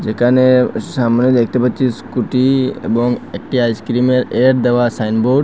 এখানে সামনে দেখতে পাচ্ছি স্কুটি এবং একটি আইসক্রিমের এড দেওয়া সাইনবোর্ড ।